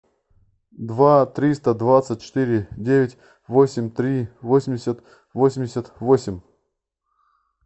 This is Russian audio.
два триста двадцать четыре девять восемь три восемьдесят восемьдесят восемь